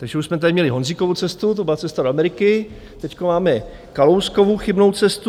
Takže už jsme tady měli Honzíkovu cestu, to byla Cesta do Ameriky, teď máme Kalouskovu chybnou cestu.